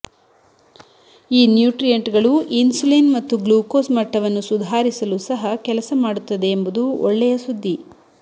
ಈ ನ್ಯೂಟ್ರಿಯಂಟ್ಗಳು ಇನ್ಸುಲಿನ್ ಮತ್ತು ಗ್ಲೂಕೋಸ್ ಮಟ್ಟವನ್ನು ಸುಧಾರಿಸಲು ಸಹ ಕೆಲಸ ಮಾಡುತ್ತದೆ ಎಂಬುದು ಒಳ್ಳೆಯ ಸುದ್ದಿ